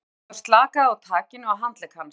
Jón Ólafur slakaði á takinu á handlegg hans.